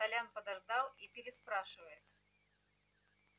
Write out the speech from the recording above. толян подождал и переспрашивает